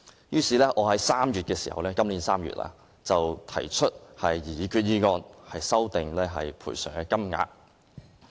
於是，我在今年3月提出擬議決議案，修訂有關賠償金額。